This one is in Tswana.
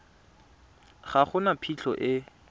ga go na phitlho e